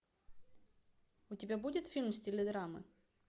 у тебя будет фильм в стиле драмы